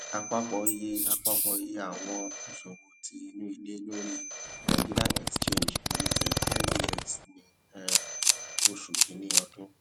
apapọ iye apapọ iye awọn iṣowo ti inu ile lori nigerian exchange limited ngx ni um oṣu kini ọdun